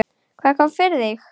Hvað kom fyrir þig?